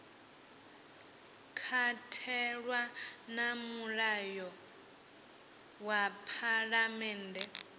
katelwa na mulayo wa phalammennde